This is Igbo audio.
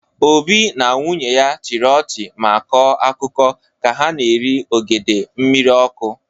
Obi na nwunye ya chịrị ọchị ma kọọ akụkọ ka ha na-eri ogede mmiri ọkụ.